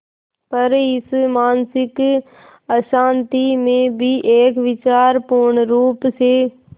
पर इस मानसिक अशांति में भी एक विचार पूर्णरुप से